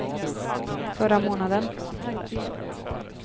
förra månaden